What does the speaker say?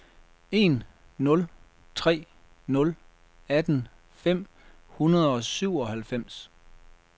en nul tre nul atten fem hundrede og syvoghalvfems